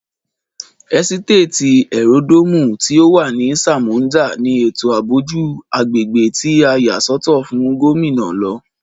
ẹ́sítéètì ẹ́ródòomù tí o wà ní sámońdà ní ètò ààbò jù agbègbè tí a yà sọ́tọ̀ fún Gómìnà lọ